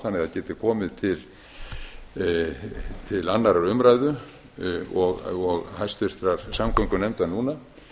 þannig að það geti komið til annarrar umræðu og háttvirtrar samgöngunefndar núna